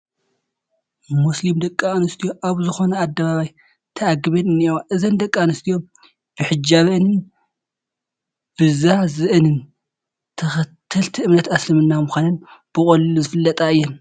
ሞስሊም ደቂ ኣነስትዮ ኣብ ዝኾነ ኣደባባይ ተኣኪበን እኔዋ፡፡ እዘን ደቂ ኣነስትዮ ብሕጃብአንን ብዛዝአንን ተኸተልቲ እምነት ምስልምና ምዃነን ብቐሊሉ ዝፍለጣ እየን፡፡